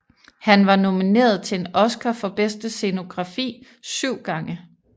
Han var nomineret til en Oscar for bedste scenografi syv gange